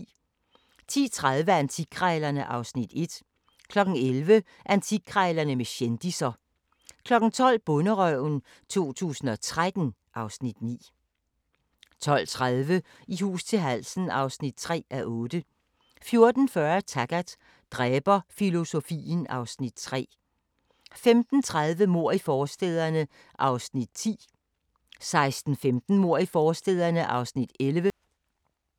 00:20: Whitechapel: Gangstertvillingerne (Afs. 5) 01:05: Strømerne fra Liverpool (Afs. 12) 01:55: Spooks (Afs. 36) 02:50: Camilla – Boller af stål (Afs. 4) 03:15: Hammerslag 2007 * 03:45: Hammerslag 2007 * 04:15: I hus til halsen (3:8)*